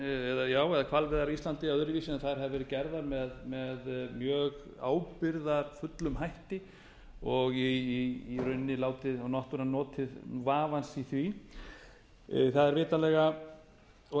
öðruvísi heldur en að þær hafi verið gerðar með mjög ábyrgðarfullum hætti og í rauninni náttúran notið vafans í því það er vitanlega